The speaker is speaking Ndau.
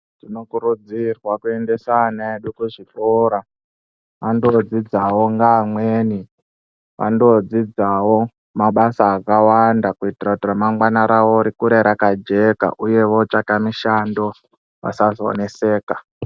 Tinokurudzirwa kuendesa ana edu kuzvikora andodzidzawo ngeamweni vandodzidzawo mabasa akawanda kuitira kuti ramangwana rawo rikure rakajeka uye votsvaka mishando vasazoneseka.